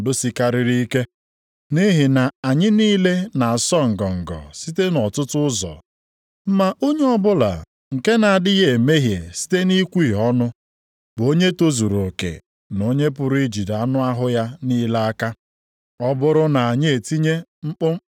Nʼihi na anyị niile na-asọ ngọngọ site nʼọtụtụ ụzọ. Ma onye ọbụla nke na-adịghị emehie site nʼikwuhie ọnụ bụ onye tozuru oke na onye pụrụ ijide anụ ahụ ya niile aka.